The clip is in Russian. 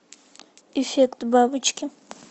эффект бабочки